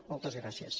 moltes gràcies